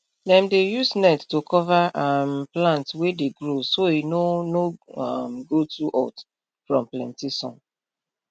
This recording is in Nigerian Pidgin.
dem dey use net to cover um plant wey dey grow so e no no um go too hot from plenty sun